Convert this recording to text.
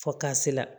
Fɔ ka se la